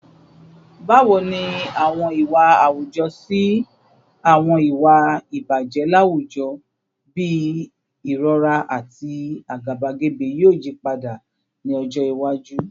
Bawo ni awọn iwa awujọ si awọn iwa ibaje lawujọ bii irọra ati agabagebe yoo yipada ni ọjọ iwaju?